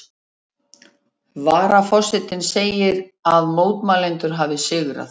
Varaforsetinn segir að mótmælendur hafi sigrað